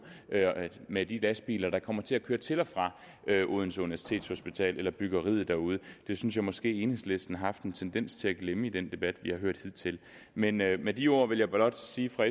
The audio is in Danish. med de lastbiler der kommer til at køre til og fra odense universitetshospital eller byggeriet derude det synes jeg måske enhedslisten har haft en tendens til at glemme i den debat vi har hørt hidtil men med med de ord vil jeg blot sige fra